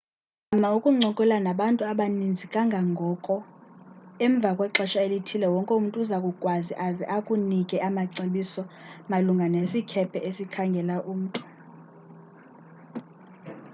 zama ukuncokola nabantu abaninzi kangangoko emva kwexesha elithile wonke umntu uza kukwazi aze akunike amacebiso malunga nesikhephe esikhangela umntu